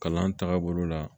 Kalan tagabolo la